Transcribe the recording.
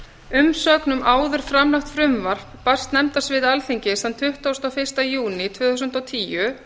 umsögn um áður framlagt frumvarp barst nefndasviði alþingis þann tuttugasta og fyrsta júní tvö þúsund og tíu